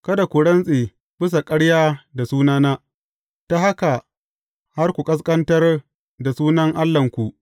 Kada ku rantse bisa ƙarya da sunana, ta haka har ku ƙasƙantar da sunan Allahnku.